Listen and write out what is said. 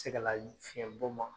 Tegela ɲ fiɲɛbɔ ma